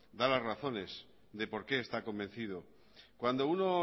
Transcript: da las razones de por qué está convencido cuando uno